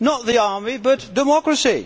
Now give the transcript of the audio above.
Not the army, but democracy.